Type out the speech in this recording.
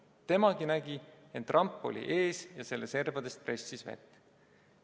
Temagi nägi, ent ramp oli ees ja selle servadest pressis vett.